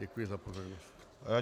Děkuji za pozornost.